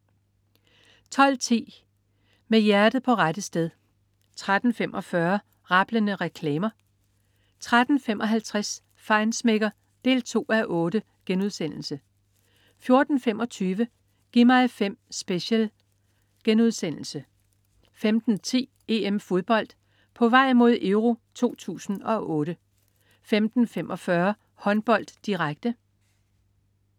12.10 Med hjertet på rette sted 13.45 Rablende reklamer 13.55 Feinschmecker 2:8* 14.25 Gi' mig 5 Special* 15.10 EM-Fodbold. På vej mod EURO 2008 15.45 Håndbold, direkte